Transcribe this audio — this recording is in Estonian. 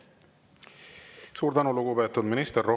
Suur tänu, lugupeetud minister!